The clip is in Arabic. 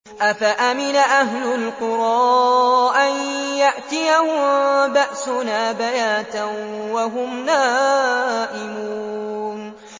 أَفَأَمِنَ أَهْلُ الْقُرَىٰ أَن يَأْتِيَهُم بَأْسُنَا بَيَاتًا وَهُمْ نَائِمُونَ